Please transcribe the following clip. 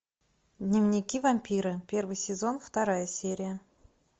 дневники вампира первый сезон вторая серия